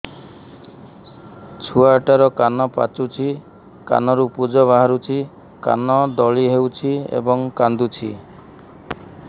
ଛୁଆ ଟା ର କାନ ପାଚୁଛି କାନରୁ ପୂଜ ବାହାରୁଛି କାନ ଦଳି ହେଉଛି ଏବଂ କାନ୍ଦୁଚି